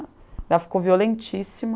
Ela ficou violentíssima.